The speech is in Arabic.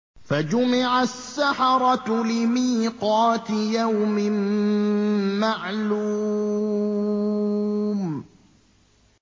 فَجُمِعَ السَّحَرَةُ لِمِيقَاتِ يَوْمٍ مَّعْلُومٍ